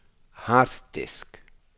harddisk